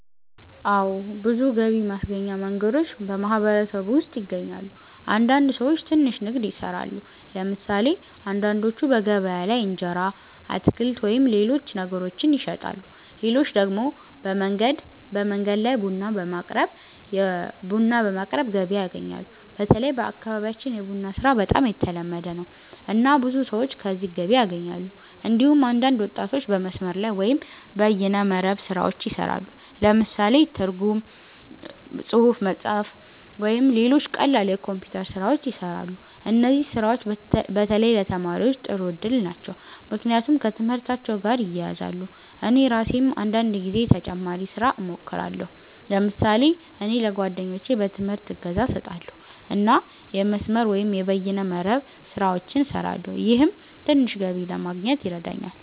አዎ። ብዙ ገቢ ማስገኛ መንገዶች በማህበረሰቡ ውስጥ ይገኛሉ። አንዳንድ ሰዎች ትንሽ ንግድ ይሰራሉ። ለምሳሌ አንዳንዶቹ በገበያ ላይ እንጀራ፣ አትክልት ወይም ሌሎች ነገሮችን ይሸጣሉ። ሌሎች ደግሞ በመንገድ ላይ ቡና በማቅረብ ገቢ ያገኛሉ። በተለይ በአካባቢያችን የቡና ስራ በጣም የተለመደ ነው፣ እና ብዙ ሰዎች ከዚህ ገቢ ያገኛሉ። እንዲሁም አንዳንድ ወጣቶች በመስመር ላይ (በይነ መረብ) ስራዎች ይሰራሉ። ለምሳሌ ትርጉም፣ ጽሁፍ መጻፍ፣ ወይም ሌሎች ቀላል የኮምፒውተር ስራዎች ይሰራሉ። እነዚህ ስራዎች በተለይ ለተማሪዎች ጥሩ እድል ናቸው፣ ምክንያቱም ከትምህርታቸው ጋር ይያያዛሉ። እኔ ራሴም አንዳንድ ጊዜ ተጨማሪ ስራ እሞክራለሁ። ለምሳሌ እኔ ለጓደኞቼ በትምህርት እገዛ እሰጣለሁ እና የመስመር(በይነ መረብ) ስራዎችን እሰራለሁ። ይህም ትንሽ ገቢ ለማግኘት ይረዳኛል።